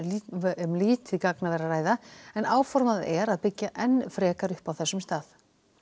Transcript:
um lítið gagnaver að ræða en áformað er að byggja enn frekar upp á þessum stað